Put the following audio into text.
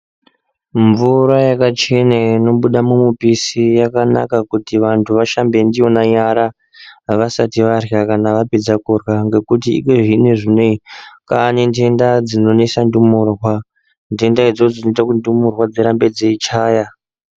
Mvura yakachena inobuda mumupisi yakanaka kuti vanthu vashambe ndiyona nyara vasti varya kana vapedza kurya nekuti iyezvinezvi kwaane ndenda dzinonesa ndumurwa ndenda idzodzo dzinoita kuti ndumurwa dzirambe dzeichaya.